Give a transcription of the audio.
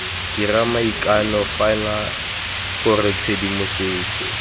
dira maikano fano gore tshedimosetso